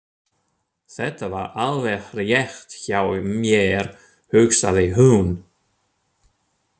Þetta var alveg rétt hjá mér, hugsaði hún.